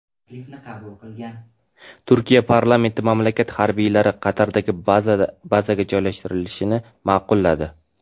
Turkiya parlamenti mamlakat harbiylari Qatardagi bazaga joylashtirilishini ma’qulladi.